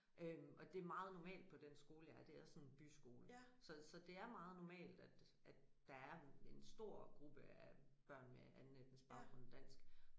Øh og det meget normalt på den skole jeg er det er sådan en byskole så så det er meget normalt at at der er en stor gruppe af børn med anden etnisk baggrund end dansk